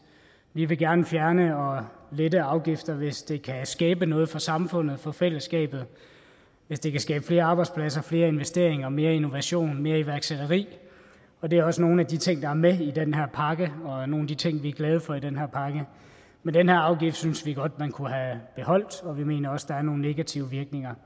vi vil gerne fjerne og lette afgifter hvis det kan skabe noget for samfundet for fællesskabet hvis det kan skabe flere arbejdspladser flere investeringer mere innovation mere iværksætteri og det er også nogle af de ting der er med i den her pakke og nogle af de ting vi er glade for i den her pakke men den her afgift synes vi godt man kunne have beholdt og vi mener også at der er nogle negative virkninger